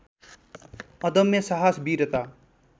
अदम्य साहस वीरता